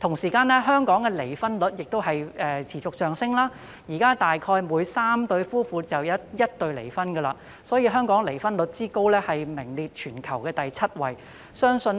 同時，香港的離婚率亦持續上升，現時大約每3對夫婦便有1對離婚，所以香港的離婚率之高，名列全球第七位，相信